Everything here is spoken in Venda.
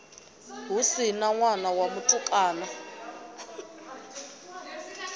si na ṋwana wa mutukana